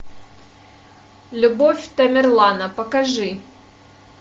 любовь тамерлана покажи